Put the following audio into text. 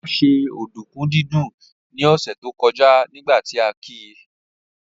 Olá ṣe ọ̀dùnkún dídún ní ọ̀sẹ̀ tó kọjá nígbà tí a ki